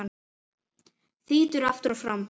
Þýtur aftur og fram.